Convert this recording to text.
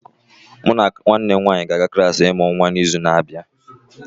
Mụ na nwanne m nwanyị ga-aga klas ịmụ nwa n'izu na-abịa